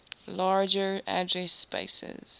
larger address spaces